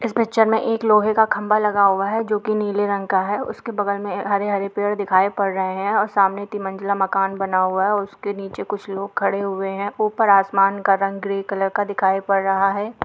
इस पिक्चर में एक लोहे का खंभा लगा हुआ है जो कि नीले रंग का है और उसके बगल में हरे-हरे पेड़ दिखाई पड़ रहे है और सामने तिमंजिला मकान बना हुआ है उसके नीचे कुछ लोग खड़े हुए है ऊपर आसमान का रंग ग्रे कलर का दिखाई पड़ रहा है।